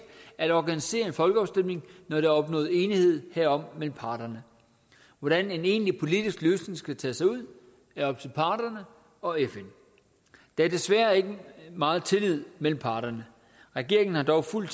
at organisere en folkeafstemning når der er opnået enighed herom mellem parterne hvordan en egentlig politisk løsning skal tage sig ud er op til parterne og fn der er desværre ikke meget tillid mellem parterne regeringen har dog fuld